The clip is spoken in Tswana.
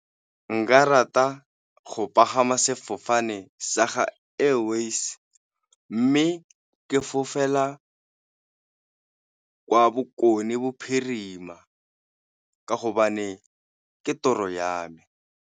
Nka rata go pagama sefofane sa ga Airways, mme o ke fofela ka kwa Bokone Bophirima ka hobane ka toro ya me.